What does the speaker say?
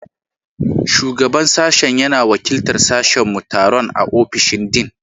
Shugaban Sashen yana wakiltar sashenmu a taron a ofishin Dean.